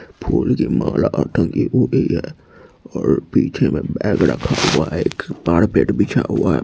फूलों की माला टंगी हुई है और पीछे में बैग रखा हुआ है एक कारपेट बिछा हुआ है।